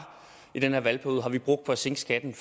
i den her valgperiode har vi brugt på at sænke skatten